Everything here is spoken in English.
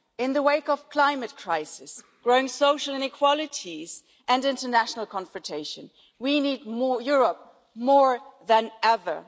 In the wake of climate crisis, growing social inequalities and international confrontation, we need Europe more than ever.